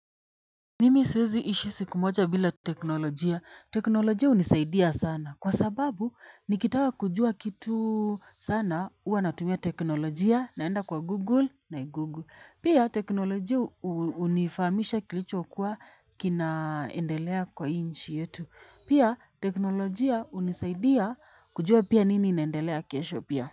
Mimi siwezi ishi siku moja bila teknolojia. Teknolojia hunisaidia sana. Kwa sababu nikitaka kujua kitu sana huwa natumia teknolojia naenda kwa Google nai google. Pia teknolojia unifamisha kilichokuwa kinaendelea kwa inchi yetu. Pia teknolojia unisaidia kujua pia nini inendelea kesho pia.